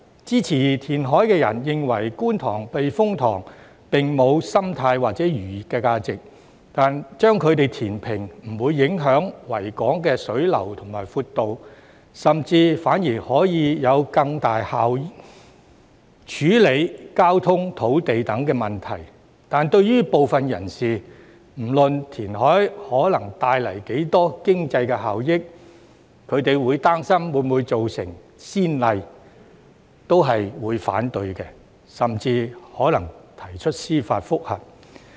支持填海的人認為，觀塘避風塘並無生態或漁業價值，將其填平不會影響維港水流和闊度，甚至反而可以更有效處理交通、土地等問題，但對於部分人士，不論填海可帶來多大的經濟效益，他們亦擔心會否造成先例，所以提出反對，甚至可能提出司法覆核。